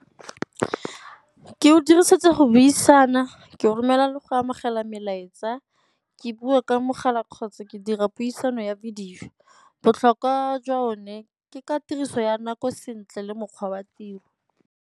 Ke o dirisetsa go buisana, ke go romela le go amogela melaetsa, ke bua ka mogala kgotsa ke dira puisano ya video. Botlhokwa jwa one ke ka tiriso ya nako sentle le mokgwa wa tiro.